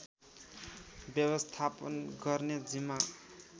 व्यवस्थापन गर्ने जिम्मा